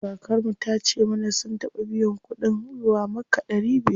Kakar mu tace mana sun taɓa biyan kuɗin zuwa makka ɗari biyar.